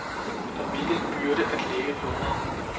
Og hvilken byrde at lægge på mig.